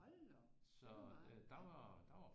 Hold da op det var meget ja